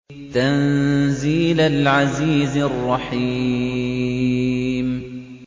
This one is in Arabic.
تَنزِيلَ الْعَزِيزِ الرَّحِيمِ